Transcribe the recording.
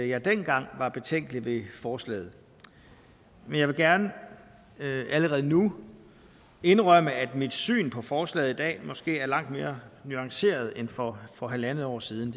jeg dengang var betænkelig ved forslaget men jeg vil gerne allerede nu indrømme at mit syn på forslaget i dag måske er langt mere nuanceret end for for halvandet år siden